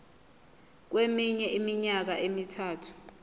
kweminye iminyaka emithathu